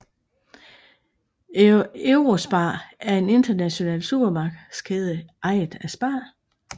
Eurospar er en international supermarkedskæde ejet af SPAR